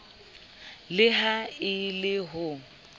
le ha e le ho